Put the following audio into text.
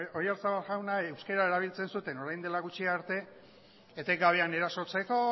oyarzabala jauna euskara erabiltzen zuten orain dela gutxi arte etengabean erasotzeko